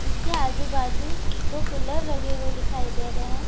उसके आजू-बाजू दो पिलर लगे हुए दिखाई दे रहे हैं।